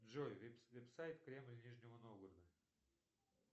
джой веб сайт кремль нижнего новгорода